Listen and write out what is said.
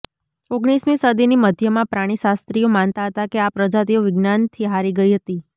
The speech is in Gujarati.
ઓગણીસમી સદીની મધ્યમાં પ્રાણીશાસ્ત્રીઓ માનતા હતા કે આ પ્રજાતિઓ વિજ્ઞાનથી હારી ગઈ હતી